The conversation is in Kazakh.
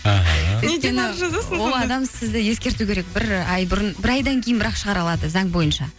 ол адам сізді ескерту керек бір ай бұрын бір айдан кейін бір ақ шығара алады заң бойынша